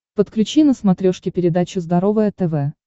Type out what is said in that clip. подключи на смотрешке передачу здоровое тв